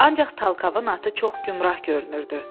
Ancaq Talkavın atı çox gümgürah görünürdü.